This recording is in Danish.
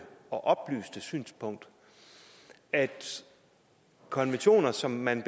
og oplyste synspunkt at hvis konventioner som man